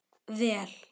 Vel